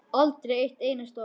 Aldrei eitt einasta orð.